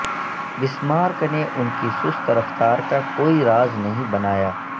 Bismarck نے ان کی سست رفتار کا کوئی راز نہیں بنایا